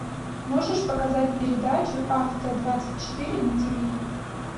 можешь показать передачу авто двадцать четыре на тиви